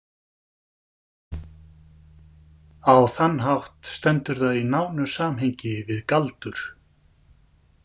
Á þann hátt stendur það í nánu samhengi við galdur.